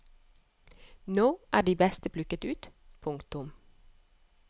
Nå er de beste plukket ut. punktum